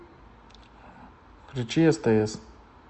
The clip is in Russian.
включи стс